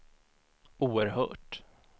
oerhört